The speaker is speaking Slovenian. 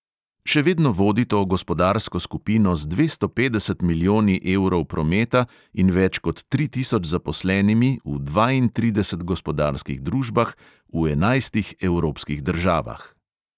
Še vedno vodi to gospodarsko skupino z dvesto petdeset milijoni evrov prometa in več kot tri tisoč zaposlenimi v dvaintridesetih gospodarskih družbah v enajstih evropskih državah.